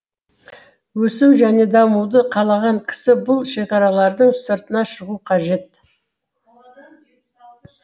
өсу және дамуды қалаған кісі бұл шекаралардың сыртына шығу қажет